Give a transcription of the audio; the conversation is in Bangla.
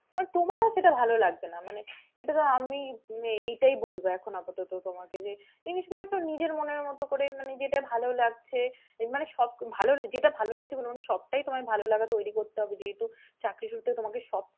আমারও সেটা ভালো লাগবে না মানে এটা তো আমি এটাই বলবো এখন আপাতত তোমাকে যে জিনিসগুলো একটু নিজের মনের মতো করে মানে যেটা ভালো লাগছে, মানে যেটা ভালো লাগছে বলবো না সবটাই তোমার ভালোলাগা তৈরি করতে হবে যেহেতু চাকরি সূত্রে তোমাকে সব,